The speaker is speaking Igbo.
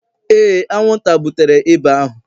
Ee, anwụnta butere ịba ahụ